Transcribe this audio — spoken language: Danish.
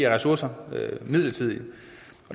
af ressourcer midlertidigt